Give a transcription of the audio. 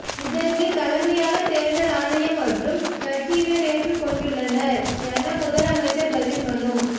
இதற்கு தலைமையாக தேர்தல் ஆணையம் மற்றும் கட்சியினர் ஏற்று கொண்டுள்ளனர் என முதலமைச்சர் பதில்மனு